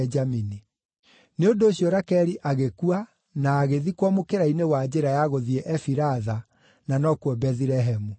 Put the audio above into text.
Nĩ ũndũ ũcio Rakeli agĩkua na agĩthikwo mũkĩra-inĩ wa njĩra ya gũthiĩ Efiratha (na nokuo Bethilehemu.)